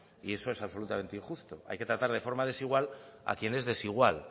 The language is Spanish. y eso es absolutamente injusto hay que tratar de forma desigual a quien es desigual